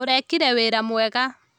Ũrekire wĩra mwega